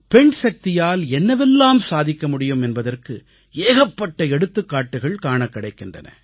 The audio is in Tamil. பெண் சக்தியால் என்னவெல்லாம் சாதிக்க முடியும் என்பதற்கு ஏகப்பட்ட எடுத்துக்காட்டுகள் காணக் கிடைக்கின்றன